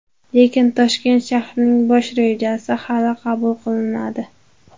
Lekin Toshkent shahrining bosh rejasi hali qabul qilinmadi.